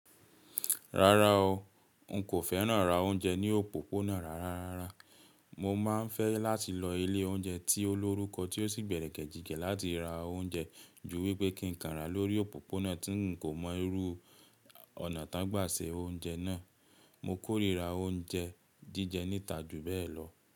Rárá o, n kò fẹ́ràn rà oúnjẹ ní òpópónà rárá. Mo máa ń fẹ́ láti lọ ilé oúnjẹ tí ó lórúkọ tí ó sì gbẹ̀rẹ̀kẹ̀jigẹ̀ láti ra oúnjẹ ju wípé kí ń kàn ra lórí òpópónà tí ń kò mọ irú ọ̀nà tá ti won gbà ṣe oúnjẹ náà. Mo kórira oúnjẹ jíjẹ níta jù bẹ́ẹ̀ lọ.